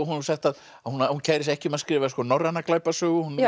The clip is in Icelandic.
sagt að hún kæri sig ekki um að skrifa norræna glæpasögu hún